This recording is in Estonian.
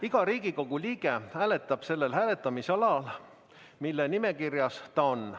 Iga Riigikogu liige hääletab sellel hääletamisalal, mille nimekirjas ta on.